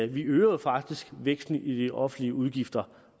vi øger jo faktisk væksten i de offentlige udgifter